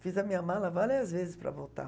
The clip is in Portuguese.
Fiz a minha mala várias vezes para voltar.